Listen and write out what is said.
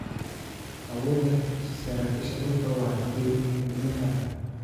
Awoodda saraakiisha dhulku waa xadidan tahay.